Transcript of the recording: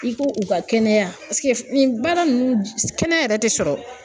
I ko u ka kɛnɛya paseke nin baara nunnu kɛnɛya yɛrɛ tɛ sɔrɔ